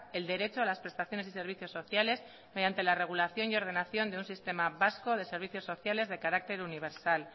el derecho a las prestaciones y servicios sociales mediante la regulación y ordenación de un sistema vasco de servicios sociales de carácter universal